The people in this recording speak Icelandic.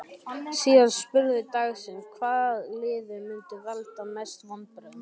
Síðari spurning dagsins: Hvaða lið mun valda mestum vonbrigðum?